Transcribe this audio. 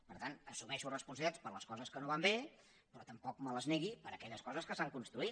per tant assumeixo responsabilitats per les coses que no van bé però tampoc me les negui per aquelles coses que s’han construït